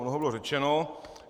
Mnoho bylo řečeno.